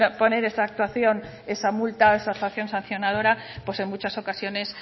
poner esa actuación esa multa o esa actuación sancionadora pues en muchas ocasiones